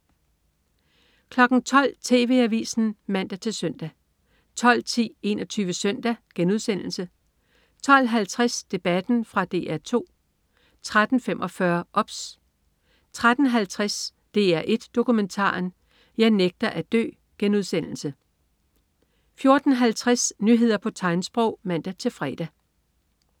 12.00 TV Avisen (man-søn) 12.10 21 Søndag* 12.50 Debatten. Fra DR 2 13.45 OBS 13.50 DR1 Dokumentaren. Jeg nægter at dø* 14.50 Nyheder på tegnsprog (man-fre)